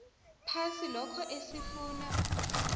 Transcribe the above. phasi lokho esifuna